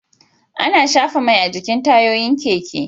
Ana shafa Mai a jikin tayoyin keke